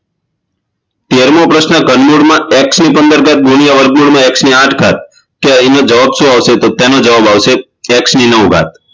તેરમો પ્રશ્ન ધનમૂળમાં x ની પંદર ધાત ગુણ્યા વર્ગમૂળમાં x ની આઠ ધાત તો તેનો જવાબ શું આવશે તો તેનો જવાબ આવશે ની x નવ ધાત